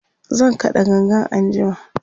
zan kaɗa gangan anjima